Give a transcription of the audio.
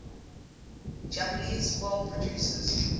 japanese film producers